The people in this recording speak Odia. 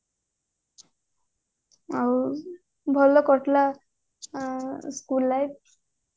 ଆଉ ଭଲ କରିଥିଲା school ରେ